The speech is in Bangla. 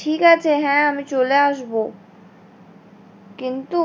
ঠিক আছে হ্যাঁ আমি চলে আসবো কিন্তু